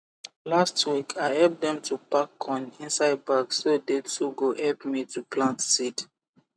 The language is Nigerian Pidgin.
last week i help them to pack corn inside bag so they too go help me to plant seed